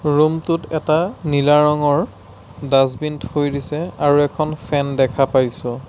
ৰুমটোত এটা নীলা ৰঙৰ ডাষ্টবিন থৈ দিছে আৰু এখন ফেন দেখা পোৱা গৈছে।